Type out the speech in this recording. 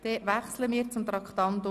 Wir wechseln zu Traktandum 29.